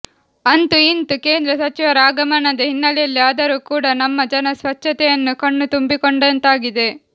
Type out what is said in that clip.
ಅಂತೂ ಇಂತೂ ಕೇಂದ್ರ ಸಚಿವರ ಆಗಮನದ ಹಿನ್ನಲೆಯಲ್ಲಿ ಆದರೂ ಕೂಡ ನಮ್ಮ ಜನ ಸ್ವಚ್ಚತೆಯನ್ನು ಕಣ್ಣು ತುಂಬಿಕೊಂಡಂತಾಗಿದೆ